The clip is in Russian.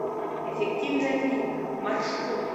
эффективная клиника маршрут